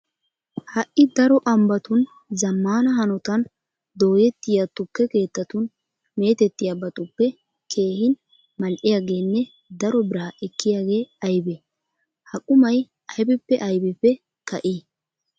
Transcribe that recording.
Ha"i daro ambbatun zammaana hanotan dooyettiya tukke keettatun meetettiyabatuppe keehin mal"iyageenne daro biraa ekkiyagee aybee? Ha qumay aybippe aybippe ka'ii?